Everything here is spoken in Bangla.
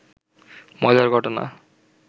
মজার ঘটনা